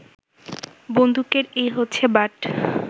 বন্দুকের এই হচ্ছে বাঁট